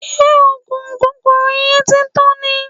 Ṣé oògùn kòkòrò yẹn ti tán ni?